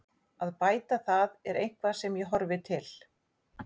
Að bæta það er eitthvað sem ég horfi til.